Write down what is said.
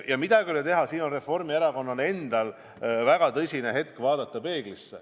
Ja midagi ei ole teha, Reformierakonnal endal on väga tõsine põhjus vaadata peeglisse.